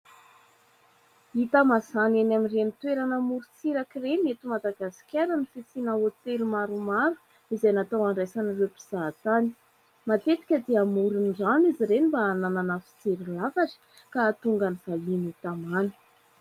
Hita mazàna eny amin'ireny toerana amorontsiraka ireny eto Madagasikara ny fisiana hotely maromaro, izay natao handraisana ireo mpizahatany. Matetika dia amoron'ny rano izy ireny mba hanana fijery lafatra ka ahatonga ny vahiny ho tamana.